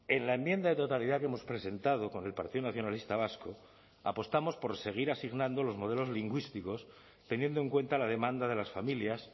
en la enmienda de totalidad que hemos presentado con el partido nacionalista vasco apostamos por seguir asignando los modelos lingüísticos teniendo en cuenta la demanda de las familias